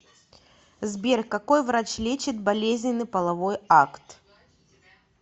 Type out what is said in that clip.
сбер какой врач лечит болезненный половой акт